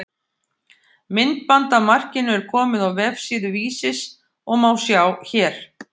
Myndband af markinu er komið á vefsíðu Vísis og má sjá hér.